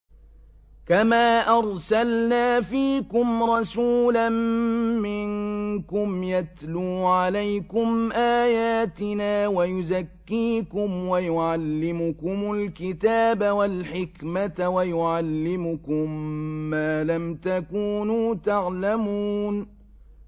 كَمَا أَرْسَلْنَا فِيكُمْ رَسُولًا مِّنكُمْ يَتْلُو عَلَيْكُمْ آيَاتِنَا وَيُزَكِّيكُمْ وَيُعَلِّمُكُمُ الْكِتَابَ وَالْحِكْمَةَ وَيُعَلِّمُكُم مَّا لَمْ تَكُونُوا تَعْلَمُونَ